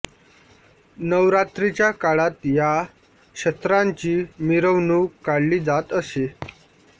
नवरात्रीच्या काळात या शस्त्रांची मिरवणूक काढली जात असे